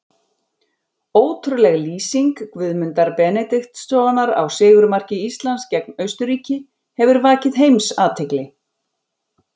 Ótrúleg lýsing Guðmundar Benediktssonar á sigurmarki Íslands gegn Austurríki hefur vakið heimsathygli.